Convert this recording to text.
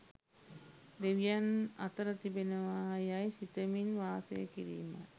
දෙවියන් අතර තිබෙනවා යැයි සිතමින් වාසය කිරීමයි.